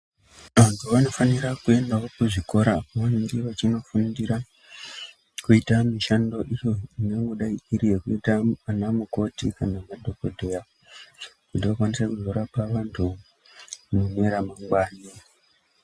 Antu vanofanira kuendawo kuzvikora kwavanenge vachindofundira kuita mishando iyo ingangodai iri iyo yekuita vana mukoti kana madhokodheya kuti vakwanise kuzorapa vantu mune ramangwana.